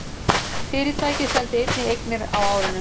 Fyrirtækið seldi einnig eignir á árinu